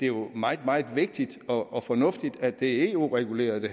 jo er meget meget vigtigt og og fornuftigt at det her er eu reguleret det